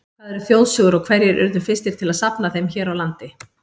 Hvað eru þjóðsögur og hverjir urðu fyrstir til að safna þeim hér á landi?